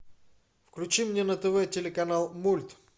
включи мне на тв телеканал мульт